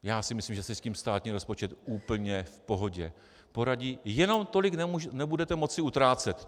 Já si myslím, že si s tím státní rozpočet úplně v pohodě poradí, jenom tolik nebudete moci utrácet.